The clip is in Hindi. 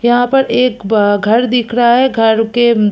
यह पर एक बा घर दिख रहा है घर के--